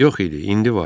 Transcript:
Yox idi, indi var.